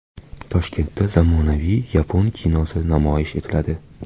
Toshkentda zamonaviy yapon kinosi namoyish etiladi.